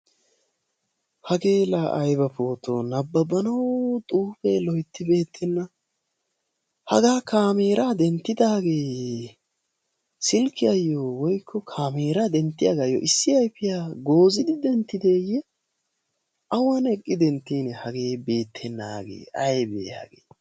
Hage la aybba pooto nababnawu xuufe loytti beettebna. haga kaameraa denttidaage silkiyaayo woykko kaamerayo issi ayfiyaa goozidi denttideyye, awan eqqi denttine hagee beettenaage hagee aybbe.